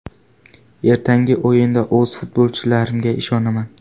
Ertangi o‘yinda o‘z futbolchilarimga ishonaman.